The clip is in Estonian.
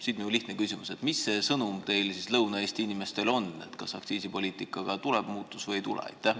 Siit minu lihtne küsimus: mis see sõnum teil Lõuna-Eesti inimestele on, kas aktsiisipoliitikas tuleb muutus või ei tule?